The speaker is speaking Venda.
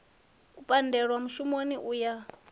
u pandelwa mushumoni u ya